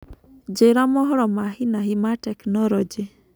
Njĩĩra mohoro ma hĩ na hĩ ma tekinoronjĩ